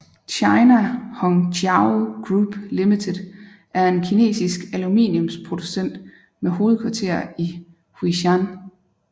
China Hongqiao Group Limited er en kinesisk aluminiumsproducent med hovedkvarter i Huixian